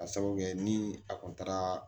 Ka sabu kɛ ni a kun taara